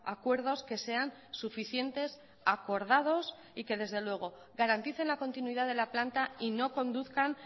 acuerdos que sean suficientes acordados y que desde luego garanticen la continuidad de la planta y no conduzcan